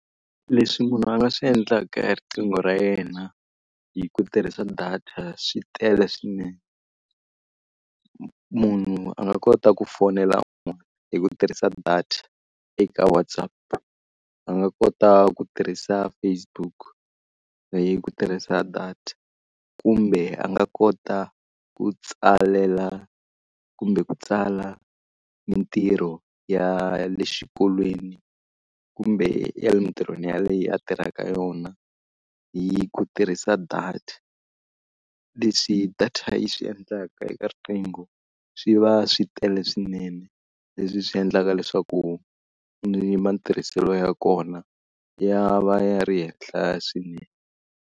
Leswi munhu a nga swi endlaka hi riqingho ra yena hi ku tirhisa data swi tele swinene. Munhu a nga kota ku fonela un'wana hi ku tirhisa data eka WhatsApp, a nga kota ku tirhisa Facebook leyi ku tirhisa data, kumbe a nga kota ku tsalela kumbe ku tsala mitirho ya ya le xikolweni, kumbe emitirhweni yaleyo a tirhaka yona hi ku tirhisa data. Leswi data yi swi endlaka eka riqingho swi va swi tele swinene, leswi swi endlaka leswaku ni matirhiselo ya kona ya va ya ri henhla swinene.